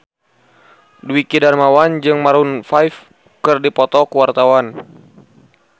Dwiki Darmawan jeung Maroon 5 keur dipoto ku wartawan